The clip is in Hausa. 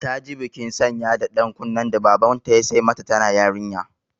Ta ji bikin sanya da ɗan kunnen da Babanta ya sai mata tana yarinya.